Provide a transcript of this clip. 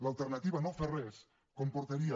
l’alternativa de no fer res comportaria